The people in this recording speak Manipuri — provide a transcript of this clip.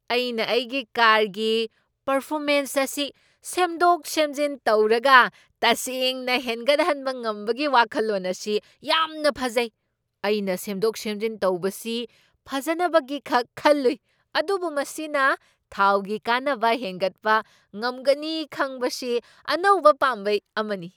ꯑꯩꯅ ꯑꯩꯒꯤ ꯀꯥꯔꯒꯤ ꯄꯔꯐꯣꯔꯃꯦꯟꯆ ꯑꯁꯤ ꯁꯦꯝꯗꯣꯛ ꯁꯦꯝꯖꯤꯟ ꯇꯧꯔꯒ ꯇꯁꯦꯡꯅ ꯍꯦꯟꯒꯠꯍꯟꯕ ꯉꯝꯕꯒꯤ ꯋꯥꯈꯜꯂꯣꯟ ꯑꯁꯤ ꯌꯥꯝꯅ ꯐꯖꯩ꯫ ꯑꯩꯅ ꯁꯦꯝꯗꯣꯛ ꯁꯦꯝꯖꯤꯟ ꯇꯧꯕꯁꯤ ꯐꯖꯅꯕꯒꯤꯈꯛ ꯈꯜꯂꯨꯏ, ꯑꯗꯨꯕꯨ ꯃꯁꯤꯅ ꯊꯥꯎꯒꯤ ꯀꯥꯟꯅꯕ ꯍꯦꯟꯒꯠꯄ ꯉꯝꯒꯅꯤ ꯈꯪꯕꯁꯤ ꯑꯅꯧꯕ ꯄꯥꯝꯕꯩ ꯑꯃꯅꯤ꯫